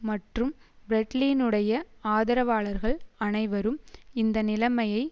மற்றும் பிரெட்லினுடைய ஆதரவாளர்கள் அனைவரும் இந்த நிலைமையை